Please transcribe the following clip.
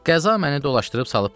Qəza məni dolaşdırıb salıb bura.